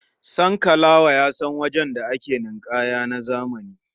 Sankalawa ya san wajen da ake ninƙaya na zamani.